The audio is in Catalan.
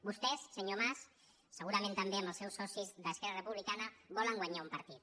vos·tès senyor mas segurament també amb els seus so·cis d’esquerra republicana volen guanyar un partit